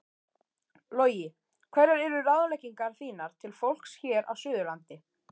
Logi: Hverjar eru ráðleggingar þínar til fólks hér á suðurlandi?